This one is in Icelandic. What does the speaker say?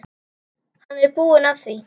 Hann er búinn að því.